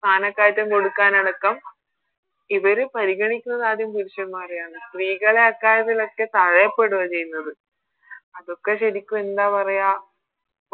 സ്ഥാനക്കയറ്റം കൊടുക്കനടക്കം ഇവര് പരിഗണിക്കുന്നതാദ്യം പുരുഷന്മ്മാരെയാണ് സ്ത്രീകളെ ആ കാര്യത്തിലൊക്കെ തടയപ്പെടുകയാ ചെയ്യുന്നത് അതൊക്കെ ശെരിക്കും എന്താ പറയാ